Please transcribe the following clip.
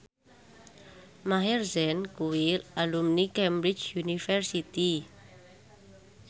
Maher Zein kuwi alumni Cambridge University